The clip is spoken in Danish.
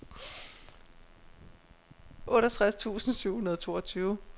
otteogtres tusind syv hundrede og toogtyve